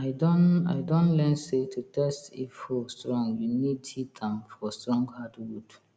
i don i don learn say to test if hoe strong you need hit am for strong hardwood